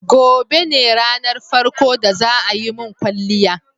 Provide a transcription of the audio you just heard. Gobe ne ranar farko da za a yi mun kwalliya.